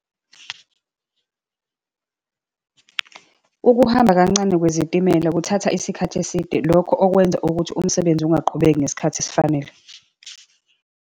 Ukuhamba kancane kwezitimela kuthatha isikhathi eside, lokho okwenza ukuthi umsebenzi ungaqhubeki ngesikhathi esifanele.